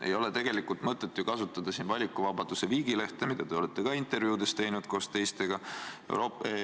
Ei ole tegelikult mõtet kasutada siin valikuvabaduse viigilehte, mida te olete ka intervjuudes koos teistega teinud.